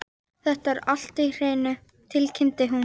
Þetta er allt á hreinu, tilkynnti hún.